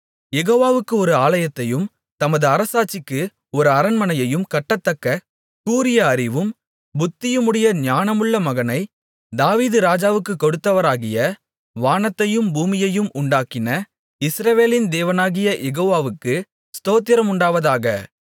யெகோவாவுக்கு ஒரு ஆலயத்தையும் தமது அரசாட்சிக்கு ஒரு அரண்மனையையும் கட்டத்தக்க கூரிய அறிவும் புத்தியுமுடைய ஞானமுள்ள மகனை தாவீது ராஜாவுக்குக் கொடுத்தவராகிய வானத்தையும் பூமியையும் உண்டாக்கின இஸ்ரவேலின் தேவனாகிய யெகோவாவுக்கு ஸ்தோத்திரமுண்டாவதாக